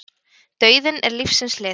Dauðinn er lífsins hlið.